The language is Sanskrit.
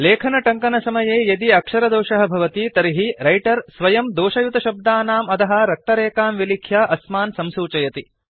लेखनटङ्कनसमये यदि अक्षरदोषः भवति तर्हि रैटर् स्वयं दोषयुतशब्दानाम् अधः रक्तरेखां विलिख्य अस्मान् संसूचयति